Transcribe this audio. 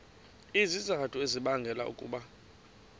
izizathu ezibangela ukuba